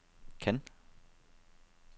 Cannes